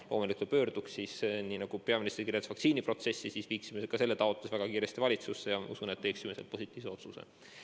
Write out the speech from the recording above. Loomulikult, kui pöörduks, siis nii nagu peaminister tutvustas vaktsiiniga seotud protsessi, me viiksime selle taotluse väga kiiresti valitsusse ja usun, et valitsus teeks positiivse otsuse.